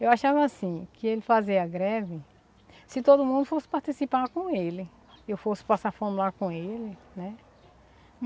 Eu achava assim, que ele fazer a greve, se todo mundo fosse participar com ele, eu fosse passar fome lá com ele, né?